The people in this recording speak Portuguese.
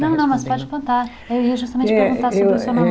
Não, não, não, você pode contar, eu ia justamente perguntar sobre o seu namoro.